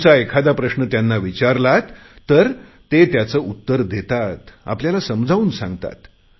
तुमचा एखादा प्रश्न त्यांना विचारलात तर ते त्याचे उत्तर देतात आपल्याला समजावून सांगात